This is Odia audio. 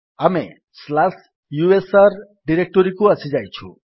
ଆମେ ସ୍ଲାସ୍ ୟୁଏସଆର ଡିରେକ୍ଟୋରୀକୁ ଆସିଯାଇଛୁ